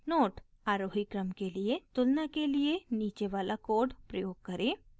note: अवरोही क्रम के लिए तुलना के लिए नीचे वाला कोड प्रयोग करें